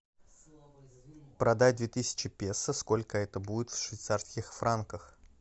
продать две тысячи песо сколько это будет в швейцарских франках